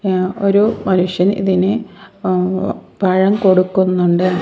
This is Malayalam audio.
ഏഹ് ഒരു മനുഷ്യൻ ഇതിന് ഏഹ് പഴം കൊടുക്കുന്നുണ്ട്.